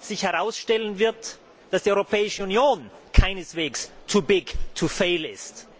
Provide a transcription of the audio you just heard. trennen, herausstellen wird, dass die Europäische Union keineswegs too big to fail ist.